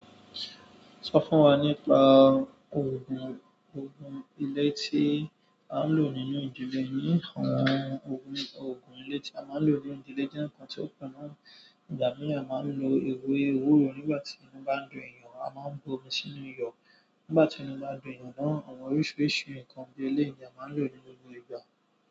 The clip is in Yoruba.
Sọ fún wa nípa ògùn, ògùn ilé tí a ń lò nínú ìdílé yín àwọn ògùn, ògùn ilé tí a máa ń lò ní ìdílé jẹ́ ǹkan tí ó kù náà. Ìgbà míràn máa ń lo ewé ewúro nígbà tí inú bá ń dùn èyàn, a máa ń bu omi sínú iyọ̀ nígbà tí inú bá ń dùn èyàn náà. Àwọn oríṣiríṣi ǹkan bí ẹlẹ́yi ni á má ń lò ní gbogbo ìgbà.